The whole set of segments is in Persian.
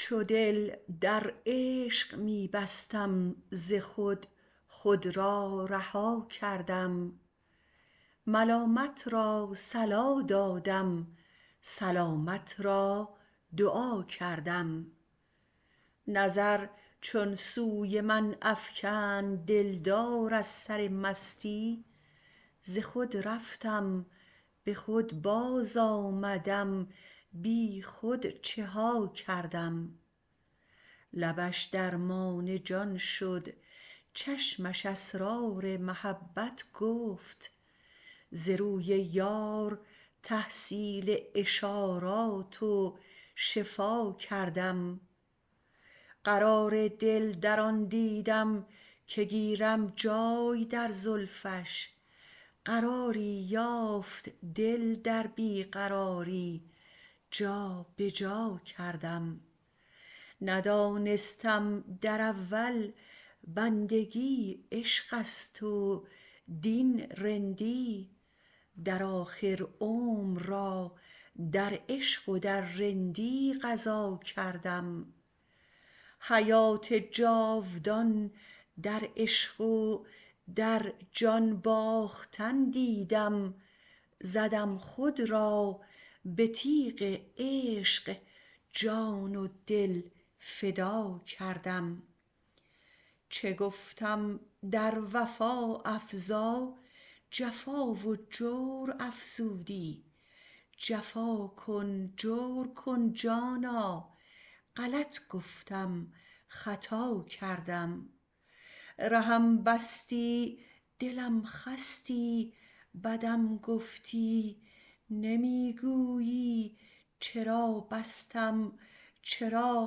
چو دل در عشق می بستم ز خود خود را رها کردم ملامت را صلا دادم سلامت را دعا کردم نظر چون سوی من افکند دلدار از سر مستی ز خود رفتم به خود باز آمدم بی خود چه ها کردم لبش درمان جان شد چشمش اسرار محبت گفت ز روی یار تحصیل اشارات و شفا کردم قرار دل در آن دیدم که گیرم جای در زلفش قراری یافت دل در بی قراری جابه جا کردم ندانستم در اول بندگی عشقست و دین رندی در آخر عمر را در عشق و در رندی قضا کردم حیات جاودان در عشق و در جان باختن دیدم زدم خود را به تیغ عشق جان و دل فدا کردم چه گفتم در وفا افزا جفا و جور افزودی جفا کن جور کن جانا غلط گفتم خطا کردم رهم بستی دلم خستی بدم گفتی نمی گویی چرا بستم چرا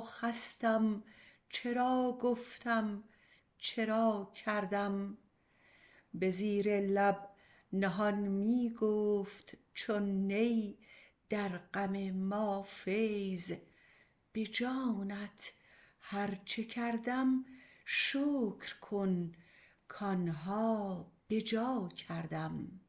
خستم چرا گفتم چرا کردم به زیر لب نهان می گفت چون نی در غم ما فیض به جانت هرچه کردم شکر کن کانها بجا کردم